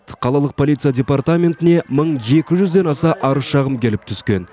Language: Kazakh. қалалық полиция департаментіне мың екі жүзден аса арыз шағым келіп түскен